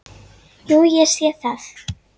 Jú, ég sé það.